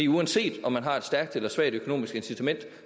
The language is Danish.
uanset om man har et stærkt eller svagt økonomisk incitament